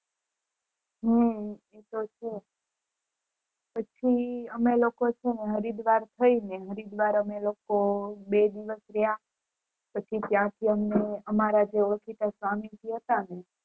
હમ એ તો છે પછી અમે લોકો હરિદ્વાર થય ને હરિદ્વાર અમે લોકો બે દિવસ રયા પછી ત્યાં થી અમને જે સ્વામી હતા ને